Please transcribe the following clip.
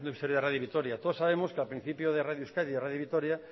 historia de radio vitoria todos sabemos que al principio de radio euskadi y radio vitoria